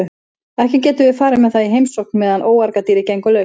Ekki getum við farið með það í heimsókn meðan óargadýrið gengur laust.